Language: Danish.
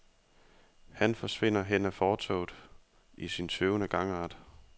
Han forsvinder hen ad fortovet i sin tøvende gangart.